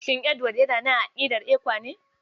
Shin Edward yana nan a aƙidar ECWA ne?